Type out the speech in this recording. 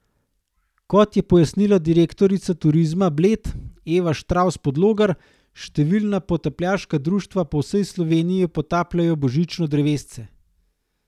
Kot je pojasnila direktorica Turizma Bled Eva Štravs Podlogar, številna potapljaška društva po vsej Sloveniji potapljajo božično drevesce.